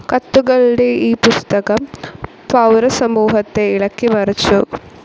കത്തുകളുടെ ഈ പുസ്തകം പൗരസമൂഹത്തെ ഇളക്കിമറിച്ചു.